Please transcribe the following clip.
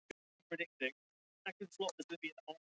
Við settumst aftur frammi í vínstofu að lokinni máltíðinni.